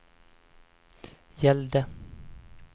gällde